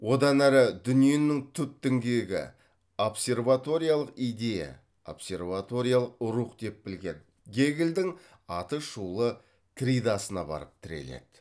одан әрі дүниенің түп діңгегі идея рух деп білген гегельдің атышулы тридасына барып тіреледі